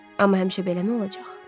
Amma həmişə beləmi olacaq?